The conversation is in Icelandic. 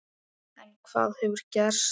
En hvað hefur gerst?